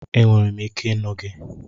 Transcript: Enwere m ike ịnụ gị